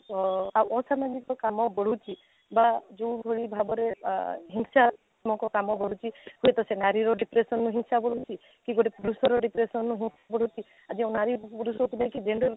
ଆଁ ଅସାମାଜିକ କାମ ବଢୁଛି ବା ଯଉ ଭଳି ଭାବରେ ହିଂସାତ୍ମକ କାମ କରୁଛି ହୁଏତ ସେ ନାରୀର depression ରୁ ହିଂସା ବଢୁଛି କି ଗୋଟେ ପୁରୁଷର depression ରୁ ହିଁ ବଢୁଛି ଏ ଯଉ ନାରୀ ପୁରୁଷକୁ ନେଇ gender